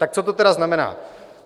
Tak co to tedy znamená?